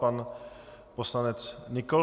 Pan poslanec Nykl.